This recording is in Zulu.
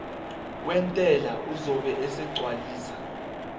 wentela uzobe esegcwalisa